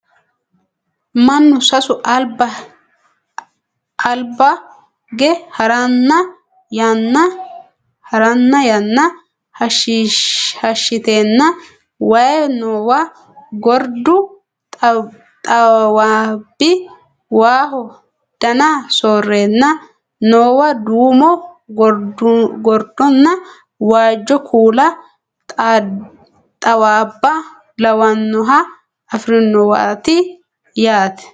Mannu sasu albaage haranna yanna hashshiteenna waye noowa gordu xawaabbi waaho dana soorreenna noowa duumo gordonna waajjo kuula xawaabba lawannoha afirinowaati yaate